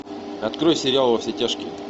открой сериал во все тяжкие